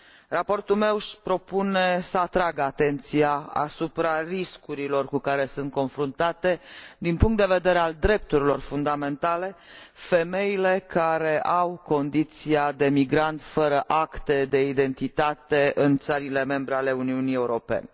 Raportul meu își propune să atragă atenția asupra riscurilor cu care sunt confruntate din punct de vedere al drepturilor fundamentale, femeile care au condiția de migrant fără acte de identitate în țările membre ale Uniunii Europene.